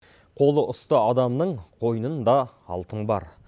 қолы ұста адамның қойнында алтын бар